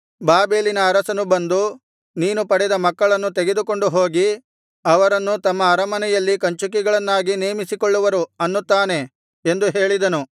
ಬಾಬೆಲಿನ ಅರಸನು ಬಂದು ನೀನು ಪಡೆದ ಮಕ್ಕಳನ್ನು ತೆಗೆದುಕೊಂಡು ಹೋಗಿ ಅವರನ್ನು ತಮ್ಮ ಅರಮನೆಯಲ್ಲಿ ಕಂಚುಕಿಗಳನ್ನಾಗಿ ನೇಮಿಸಿಕೊಳ್ಳುವರು ಅನ್ನುತ್ತಾನೆ ಎಂದು ಹೇಳಿದನು